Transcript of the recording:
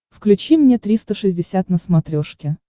включи мне триста шестьдесят на смотрешке